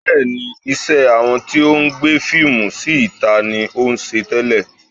Bẹ́ẹ̀ni, iṣẹ́ àwọn tí ó ń gbé fíìmù sí ìta ni ó ń ṣe tẹ́lẹ̀